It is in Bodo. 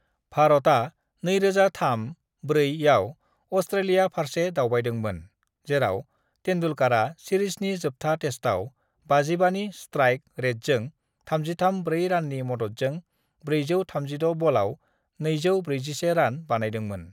"भारतआ 2003-04 आव अस्ट्रेलिया फारसे दावबायदोंमोन, जेराव तेन्दुलकरा सिरिजनि जोबथा टेस्टआव 55 नि स्ट्राइक रेटजों 33 ब्रै राननि मददजों 436 बलाव 241 रान बानायदोंमोन।"